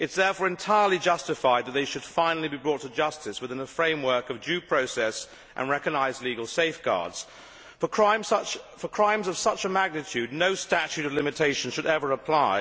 It is therefore entirely justified that they should finally be brought to justice, within a framework of due process and recognised legal safeguards. For crimes of such a magnitude no statute of limitation should ever apply.